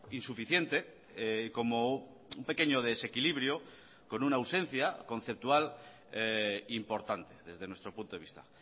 insuficiente como un pequeño desequilibrio con una ausencia conceptual importante desde nuestro punto de vista